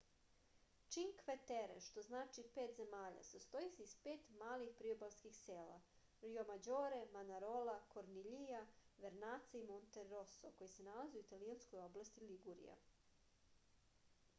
činkve tere što znači pet zemalja sastoji se iz pet malih priobalskih sela rjomađore manarola korniljija vernaca i monteroso koja se nalaze u italijanskoj oblasti ligurija